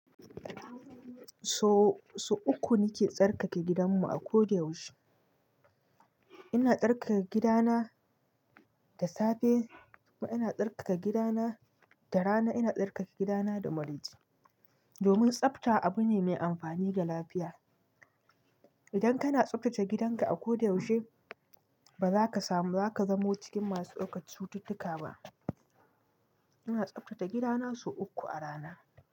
So uku nike tsarkake gidan mu a ko da yaushe. Ina tsarkake gidana da safe, ina tsarkake gidana da rana, ina tsarkake gidana da maraice. Domin tsafta abu ne mai amfani ga lafiya. Idan kana tsaftace gidanka a ko da yaushe, ba za ka samu, ba za ka zamo cikin masu ɗaukar cututtuka ba. Ina tsaftace gidana sau uku a rana.